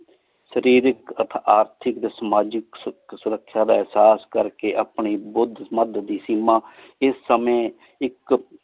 ਸ਼ਰੀਰ ਇਕ ਅਠ ਆਰਟੀਕ ਟੀ ਸਮਾਜੀ ਸੁਰਕ੍ਸ਼ਾ ਦਾ ਏਹਸਾਸ ਕਰ ਕੀ ਅਪਨੀ ਬੁਧ ਮਧ ਦੀ ਸੀਮਾ ਏਸ ਸੰਯ ਇਕ